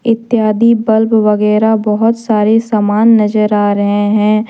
इत्यादि बल्ब वगैरा बहोत सारे सामान नजर आ रहे है।